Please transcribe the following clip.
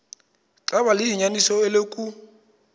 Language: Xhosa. xaba liyinyaniso eloku